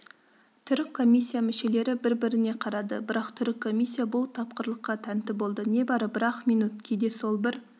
түрік комиссия мүшелері бір-біріне қарады бірақ түрік комиссия бұл тапқырлыққа тәнті болды небары бір-ақ минут кейде сол бір